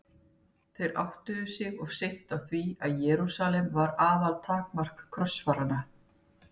Þeir áttuðu sig of seint á því að Jerúsalem var aðaltakmark krossfaranna.